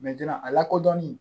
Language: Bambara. a lakodɔnnen